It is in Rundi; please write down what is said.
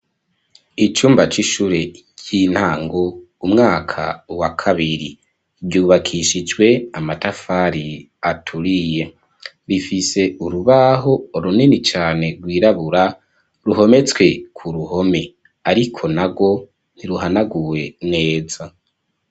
Icumba c'ishure ry'intango umwaka wa kabiri, ryubakishije amatafari aturiye, rifise urubaho runini cane rwirabura ruhometswe ku ruhome, Ariko narwo ntiruhanaguwe neza.